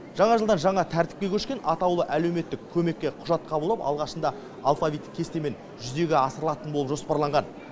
жаңа жылдан жаңа тәртіпке көшкен атаулы әлеуметтік көмекке құжат қабылдау алғашында алфавиттік кестемен жүзеге асырылатын болып жоспарланған